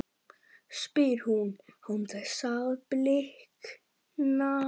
spyr hún án þess að blikna.